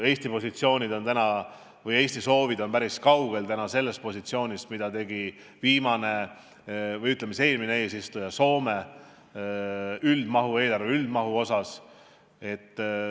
Eesti soovid on praegu päris kaugel sellest positsioonist, mida tegi eelmine eesistuja, Soome, eelarve üldmahu osas.